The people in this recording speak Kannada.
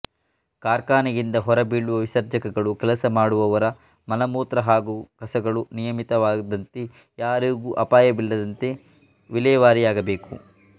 ಕಾರ್ಖಾನೆಯಿಂದ ಹೊರಬೀಳುವ ವಿಸರ್ಜಕಗಳು ಕೆಲಸ ಮಾಡುವವರ ಮಲಮೂತ್ರ ಹಾಗೂ ಕಸಗಳು ನಿಯಮಿತವಾದಂತೆ ಯಾರಿಗೂ ಅಪಾಯವಿಲ್ಲದಂತೆ ವಿಲೆವಾರಿಯಾಗಬೇಕು